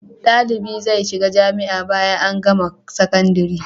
Dalibi zai shiga jamia bayan an gama sakandari